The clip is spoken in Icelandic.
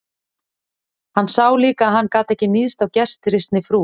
Hann sá líka að hann gat ekki níðst á gestrisni frú